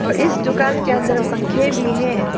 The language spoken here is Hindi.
इस दुकान के अंदर पंखे भी है।